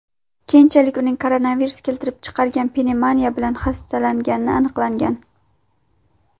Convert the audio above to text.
Keyinchalik uning koronavirus keltirib chiqargan pnevmoniya bilan hastalangani aniqlangan.